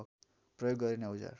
प्रयोग गरिने औजार